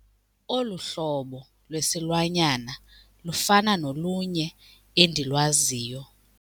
Olu hlobo lwesilwanyana lufana nolunye endilwaziyo.